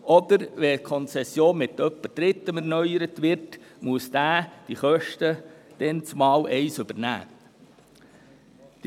Wird die Konzession mit Dritten weitergeführt, wird der Kanton die Kosten dann übernehmen müssen.